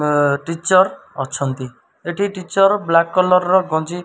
ଅ ଟିଚର୍ ଅଛନ୍ତି ଏଠି ଟିଚର୍ ବ୍ଲାକ୍ କଲର୍ ର ଗଞ୍ଜି --